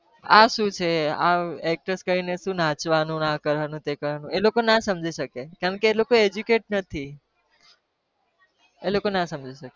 આ શું છે આમ કરીને નાચવાનું ને આ કરવાનું તે કરવાનું એ લોકો ના સમજી શકે કેમ કે એ લોકો educate નથી એ લોકો ના સમજી ના શકે